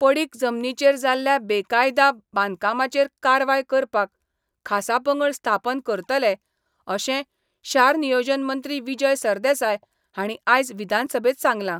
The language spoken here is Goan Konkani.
पडीक जमनीचेर जाल्ल्या बेकायदा बांदकामाचेर कारवाय करपाक खासा पंगड स्थापन करतले अशें शार नियोजन मंत्री विजय सरदेसाय हांणी आयज विधानसभेंत सांगलां.